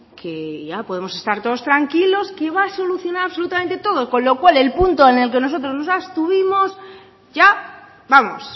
que ya podemos estar todos tranquilos que va a solucionar absolutamente todo con lo cual el punto en el que nosotros nos abstuvimos ya vamos